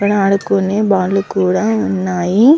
ఇక్కడ ఆడుకునే బాలు కూడా ఉన్నాయి.